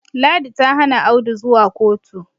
ladi ta Hana Audu zuwa kotu